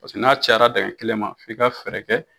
Paseke n'a cayara dingɛ kelen ma f'i ka fɛɛrɛ kɛ